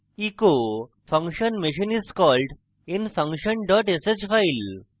echo function machine is called in function sh file